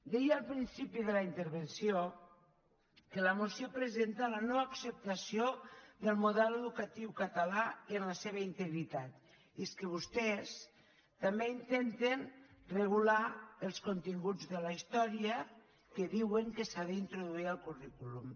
deia al principi de la intervenció que la moció presenta la no acceptació del model educatiu català en la seva integritat i és que vostès també intenten regular els continguts de la història que diuen que s’ha d’introduir al currículum